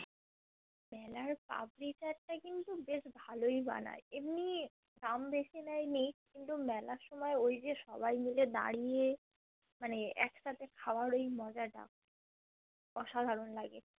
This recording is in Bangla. মেলার পাপড়ি চ্যাটতা কিন্তু বেশ ভালোই বানায় এমনি দাম বেশি নেয় নিক কিন্তু মেলার সময় ঐযে সবাই মিলে দাঁড়িয়ে মানে একসাথে খাবার ওই মজাটা অসাধারণ লাগে